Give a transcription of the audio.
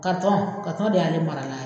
de y'ale marala ye.